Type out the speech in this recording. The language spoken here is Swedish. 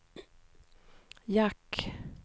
jack